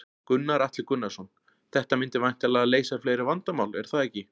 Gunnar Atli Gunnarsson: Þetta myndi væntanlega leysa fleiri vandamál, er það ekki?